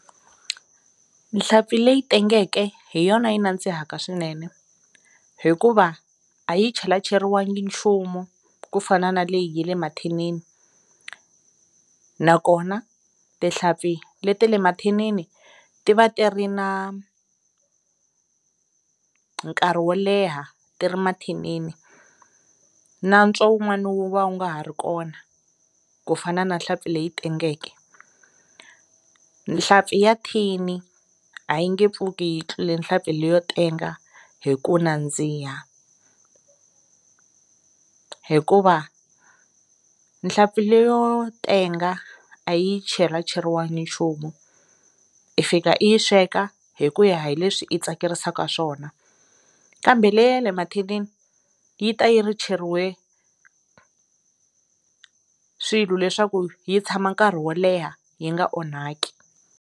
Nhlampfi leyi tengeke hi yona yi nandzihaka swinene hikuva a yi chelacheriwangi nchumu ku fana na leyi ya le mathinini nakona tihlampfi le ta le mathinini ti va ti ri na nkarhi wo leha ti ri mathinini natswo wun'wani wu va wu nga ha ri kona ku fana na nhlampfi leyi tengeke nhlampfi ya thini a yi nge pfuki yi tlule nhlampfi leyi yo tenga hi ku nandziha hikuva nhlampfi leyo tenga a yi chelacheriwanga nchumu i fika i yi sweka hi ku ya hi leswi i tsakerisaka swona kambe le ya le mathinini yi ta yi ri cheriwe swilo leswaku yi tshama nkarhi wo leha yi nga onhaki.